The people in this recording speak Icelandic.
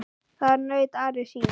Þar naut Ari sín.